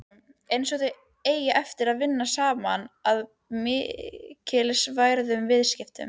Einsog þau eigi eftir að vinna saman að mikilsverðum viðskiptum.